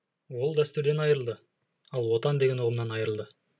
ол дәстүрден айырылды ал отан деген ұғымнан айырылды